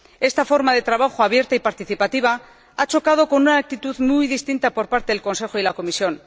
Esta forma de trabajo abierta y participativa ha chocado con una actitud muy distinta por parte del Consejo y de la Comisión.